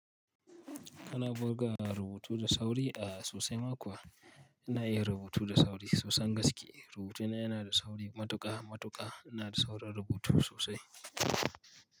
Kana buga rubutu da sauri a sosai ma kuwa ina iya rubutu da sauri sosan gaske. Rubutu na yana da sauri matuƙa matuƙa, ina da saurin rubutu sosai.